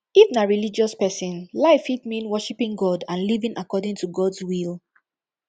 if na religious person life fit mean worshiping god and living according to gods will